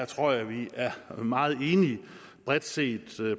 tror jeg at vi er meget enige bredt set